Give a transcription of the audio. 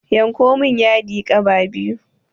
Yanko min yadi gaɓa biyu